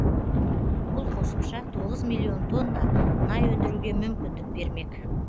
бұл қосымша тоғыз миллион тонна мұнай өндіруге мүмкіндік бермек